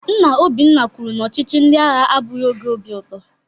Nna Obinna kwuru na ọchịchị ndị agha abụghị oge obi ụtọ